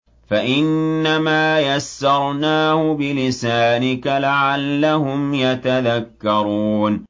فَإِنَّمَا يَسَّرْنَاهُ بِلِسَانِكَ لَعَلَّهُمْ يَتَذَكَّرُونَ